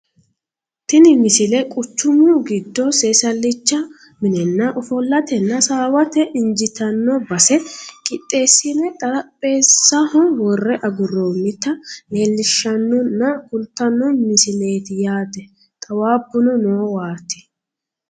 tini misile quchumu giddo seesallicha minenna ofollatenna hasaawate injiitanno base qixxeessine xarapheezzano worre agurroonnita leellishshannonna kultanno misileeti yaate xawaabuno noowaati